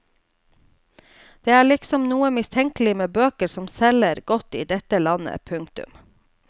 Det er liksom noe mistenkelig med bøker som selger godt i dette landet. punktum